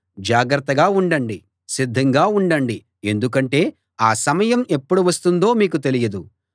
జాగ్రతగా ఉండండి సిద్ధంగా ఉండండి ఎందుకంటే ఆ సమయం ఎప్పుడు వస్తుందో మీకు తెలియదు